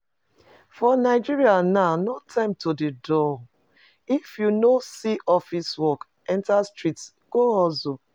For Nigeria now no time to dey dull, if you no see office work enter street go hustle